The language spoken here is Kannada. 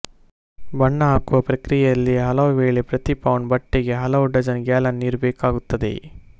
ಬಣ್ಣ ಹಾಕುವ ಪ್ರಕ್ರಿಯೆಯಲ್ಲಿ ಹಲವುವೇಳೆ ಪ್ರತಿ ಪೌಂಡ್ ಬಟ್ಟೆಗೆ ಹಲವು ಡಜ಼ನ್ ಗ್ಯಾಲನ್ ನೀರು ಬೇಕಾಗುತ್ತದೆ